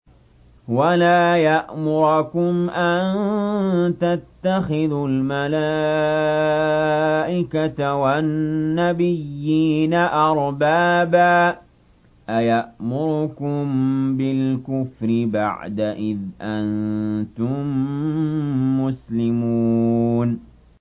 وَلَا يَأْمُرَكُمْ أَن تَتَّخِذُوا الْمَلَائِكَةَ وَالنَّبِيِّينَ أَرْبَابًا ۗ أَيَأْمُرُكُم بِالْكُفْرِ بَعْدَ إِذْ أَنتُم مُّسْلِمُونَ